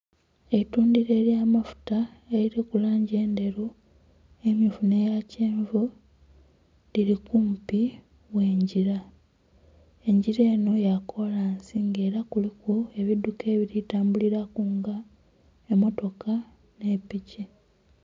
Eitundiro ely'amafuta eririku langi endheru emmyufu n'eya kyenvu liri kumpi gh'engira. Engira eno ya kolansi nga era kuliku ebidduka ebiri tambuliraku nga emmotoka ni piki.